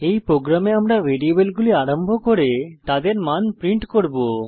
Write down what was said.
এই প্রোগ্রামে আমরা ভ্যারিয়েবলগুলি আরম্ভ করে তাদের মান প্রিন্ট করব